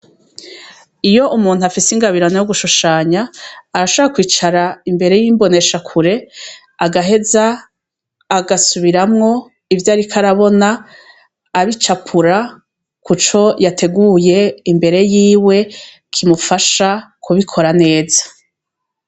Iyo umuntu afise ingabirano yo gushushanya, arashobora kwicara imbere y’imboneshakure agaheza agasubiramwo ivyarik’arabona, abicapura kuco yateguye imbere yiwe kimufasha kubikora neza.